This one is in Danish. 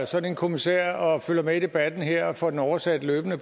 sådan en kommissær og følger med i debatten her og får den oversat løbende